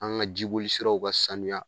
An ga jiboli siraw ka sanuya